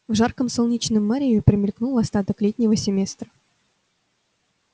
в жарком солнечном мареве промелькнул остаток летнего семестра